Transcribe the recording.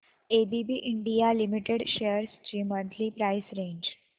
ABB India limited shares ची monthly price range